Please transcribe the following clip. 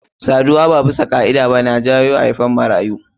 Saduwa ba bisa ka'ida ba na jawo haifan marayu.